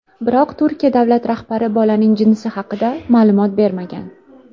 Biroq Turkiya davlat rahbari bolaning jinsi haqida ma’lumot bermagan.